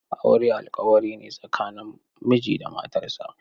Aure alƙawarine tsakanin miji da matarsa.